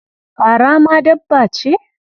Fara ma dabba ce?